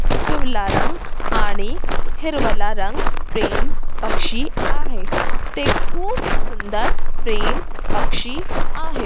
पिवला रंग आणि हिरवला रंग प्रेम पक्षी आहे ते खूप सुंदर प्रेम पक्षी आहे.